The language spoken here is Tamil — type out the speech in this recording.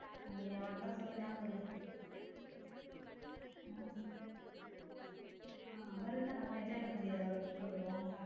அப்படியா வந்தா சொல்லு நானும் வரேன உம் அவர் இருந்தா நம்ம enjoy பண்ண முடியாதுல அவர விட்டுட்டு வந்துருவோம்